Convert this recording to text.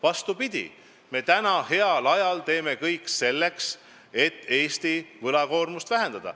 Vastupidi, me praegu, heal ajal teeme kõik selleks, et Eesti võlakoormust vähendada.